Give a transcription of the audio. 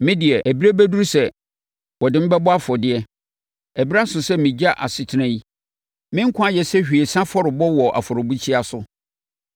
Me deɛ, ɛberɛ aduru sɛ wɔde me bɔ afɔdeɛ. Ɛberɛ aso sɛ megya asetena yi. Me nkwa ayɛ sɛ hwiesa afɔrebɔ wɔ afɔrebukyia so.